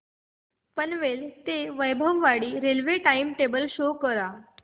पनवेल ते वैभववाडी रेल्वे चे time table show करा